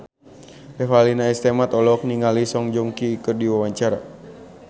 Revalina S. Temat olohok ningali Song Joong Ki keur diwawancara